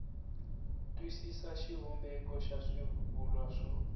twisisa xivumbeko xa swivulwa swo